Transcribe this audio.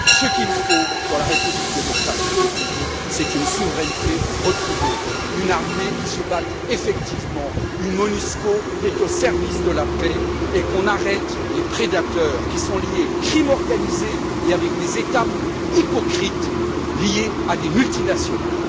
Ce qu'il faut pour la République démocratique du Congo, c'est une souveraineté retrouvée, une armée qui se batte effectivement, une Monusco au service de la paix et qu'on arrête les prédateurs qui sont liés à la criminalité organisée avec des États hypocrites liés à des multinationales.